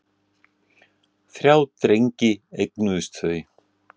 Þrjá drengi eignuðust þau.